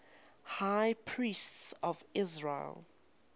high priests of israel